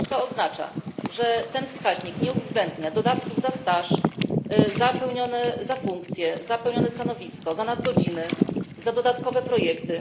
To oznacza, że ten wskaźnik nie uwzględnia dodatków za staż, za funkcje, za pełnione stanowisko, za nadgodziny, za dodatkowe projekty.